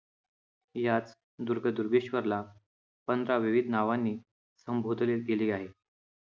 यात दुर्गदुर्गेश्वर ला विविध नावांनी संबोधले गेले आहे